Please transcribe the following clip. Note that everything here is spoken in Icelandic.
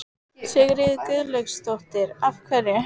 Sigríður Guðlaugsdóttir: Af hverju?